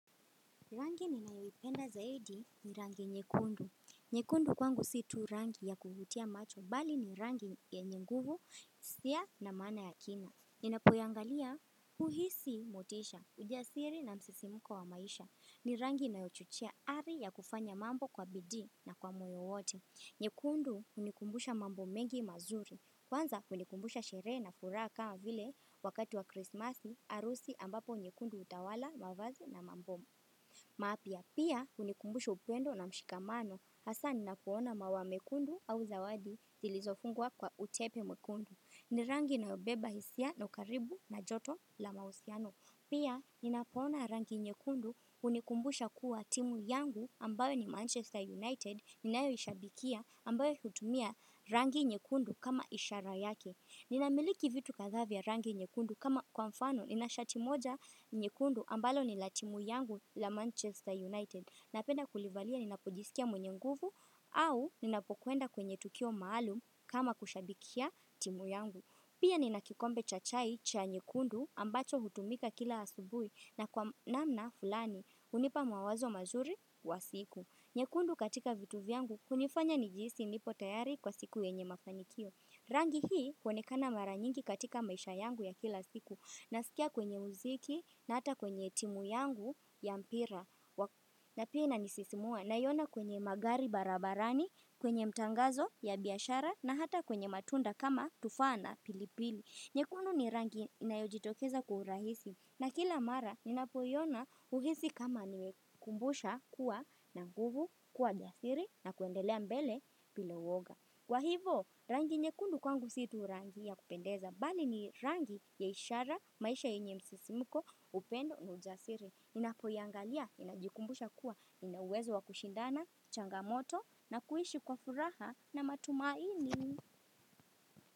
Rangi ninayoipenda zaidi ni rangi nyekundu. Nyekundu kwangu si tu rangi ya kuvutia macho bali ni rangi yenye nguvu, hisia na maana ya kina. Ninapoiangalia, uhisi motisha, ujasiri na msisimuko wa maisha. Ni rangi inayochochea ari ya kufanya mambo kwa bidii na kwa moyo wote. Nyekundu hunikumbusha mambo mengi mazuri. Kwanza hunikumbusha sherehe na furaha kama vile wakati wa krismasi harusi ambapo nyekundu hutawala mavazi na mambo. Mapya pia hunikumbusha upendo na mshikamano hasa ninapo ona maua mekundu au zawadi zilizofungwa kwa utepe mwekundu. Ni rangi inayobeba hisia na ukaribu na joto la mahusiano. Pia ninapo ona rangi nyekundu hunikumbusha kuwa timu yangu ambayo ni Manchester United. Ninayoishabikia ambayo hutumia rangi nyekundu kama ishara yake. Ninamiliki vitu kadhaa vya rangi nyekundu kama kwa mfano nina shati moja nyekundu ambalo ni la timu yangu la Manchester United napenda kulivalia ninapojisikia mwenye nguvu au ninapokuenda kwenye tukio maalum kama kushabikia timu yangu. Pia nina kikombe cha chai cha nyekundu ambacho hutumika kila asubuhi na kwa namna fulani hunipa mawazo mazuri wa siku. Nyekundu katika vitu vyangu hunifanya nijihisi nipo tayari kwa siku yenye mafanikio. Rangi hii huonekana mara nyingi katika maisha yangu ya kila siku na sikia kwenye muziki na hata kwenye timu yangu ya mpira na pia inanisisimua naiona kwenye magari barabarani, kwenye mtangazo ya biashara na hata kwenye matunda kama tufaa na pilipili. Nyekundu ni rangi inayojitokeza kwa urahisi na kila mara ninapoiona uhisi kama nimekumbusha kuwa na nguvu kuwa jasiri na kuendelea mbele bila uwoga. Kwa hivo rangi nyekundu kwangu si tu rangi ya kupendeza bali ni rangi ya ishara maisha yenye msisimuko upendo na ujasiri. Ninapoiangalia ninajikumbusha kuwa nina uwezo wa kushindana, changamoto na kuishi kwa furaha na matumaini.